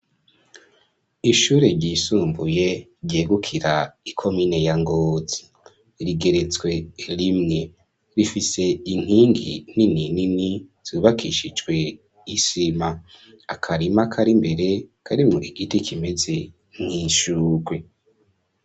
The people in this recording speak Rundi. Ishuri ryisumbuye ryegukira ikomine ya Ngozi rigeretswe rimwe, rifise inkingi nini nini zubakishijwe isima, akarima kari imbere karimwo igiti kimeze nk'ishurwe.